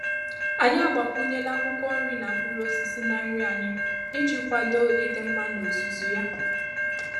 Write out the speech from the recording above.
Anyị agbakwunyela akwụkwọ nri na mkpụrụ osisi na nri anyị iji kwado ịdị mma n'ozuzu ya.